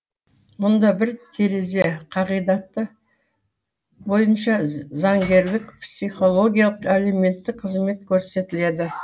мұнда бір терезе қағидаты бойынша заңгерлік психологиялық әлеуметтік қызмет көрсетіледі